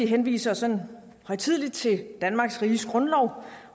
henviser sådan højtideligt til danmarks riges grundlov